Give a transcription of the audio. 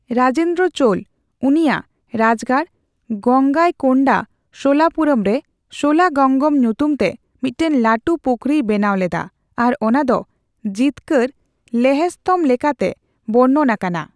ᱨᱟᱡᱮᱱᱫᱨᱚ ᱪᱳᱞ ᱩᱱᱤᱭᱟᱜ ᱨᱟᱡᱽᱜᱟᱲ ᱜᱚᱝᱜᱟᱭᱠᱳᱱᱰᱟ ᱥᱳᱞᱟᱯᱩᱨᱚᱢ ᱨᱮ ᱥᱳᱞᱟᱜᱚᱝᱜᱚᱢ ᱧᱩᱛᱩᱢ ᱛᱮ ᱢᱤᱫᱴᱟᱝ ᱞᱟᱹᱴᱩ ᱯᱩᱠᱷᱚᱨᱤᱭ ᱵᱮᱱᱟᱣ ᱞᱮᱫᱟ ᱟᱨ ᱚᱱᱟ ᱫᱚ ᱡᱤᱛᱠᱟᱨ ᱞᱮᱦᱮ ᱥᱛᱚᱢᱷ ᱞᱮᱠᱟᱛᱮ ᱵᱚᱨᱱᱚᱱ ᱟᱠᱟᱱᱟ᱾